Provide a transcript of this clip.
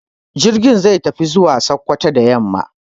Jirgin zai tafi zuwa Sokoto da yamma.